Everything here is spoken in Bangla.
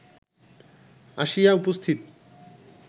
আসিয়া উপস্থিত